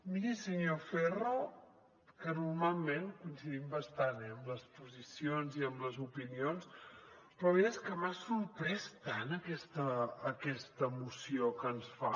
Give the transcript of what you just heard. miri senyor ferro que normalment coincidim bastant en les posicions i en les opinions però la veritat és que m’ha sorprès tant aquesta moció que ens fa